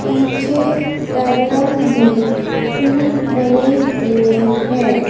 पीछे बैकग्राउंड में फूल बने हुए हैं।